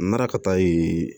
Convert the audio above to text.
N nana ka taa yen